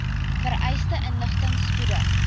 vereiste inligting spoedig